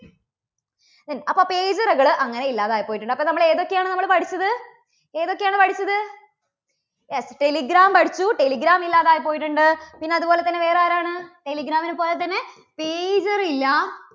ഉം അപ്പോ pager കള് അങ്ങനെ ഇല്ലാതായി പോയിട്ടുണ്ട്. അപ്പോൾ ഏതൊക്കെയാണ് നമ്മള് പഠിച്ചത്? ഏതൊക്കെയാണ് പഠിച്ചത്? yes, telegram പഠിച്ചു. telegram ഇല്ലാതായി പോയിട്ടുണ്ട്. പിന്നെ അതുപോലെ തന്നെ വേറെ ആരാണ്? telegram നെ പോലെ തന്നെ pager ഇല്ല